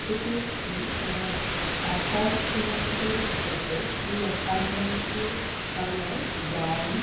এটি একটি কোন এপার্টমেন্ট এর ফটো । এই এপার্টমেন্ট -ইর কালার ব্রাউন